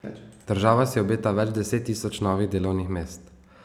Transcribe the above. Država si obeta več deset tisoč novih delovnih mest.